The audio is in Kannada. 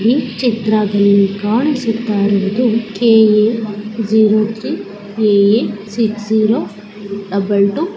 ಈ ಚಿತ್ರಾದಲ್ಲಿ ಕಾಣಿಸುತ್ತ ಇರುವುದು KA. Zero three AA. Six double two --